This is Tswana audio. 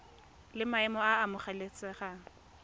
la maemo a a amogelesegang